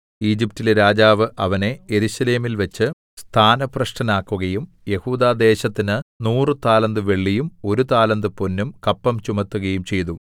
ഈജിപ്റ്റിലെ രാജാവ് അവനെ യെരൂശലേമിൽവെച്ച് സ്ഥാനഭ്രഷ്ടനാക്കുകയും യെഹൂദാദേശത്തിന് നൂറു താലന്ത് വെള്ളിയും ഒരു താലന്ത് പൊന്നും കപ്പം ചുമത്തുകയും ചെയ്തു